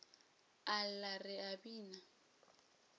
a lla re a bina